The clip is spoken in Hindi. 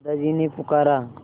दादाजी ने पुकारा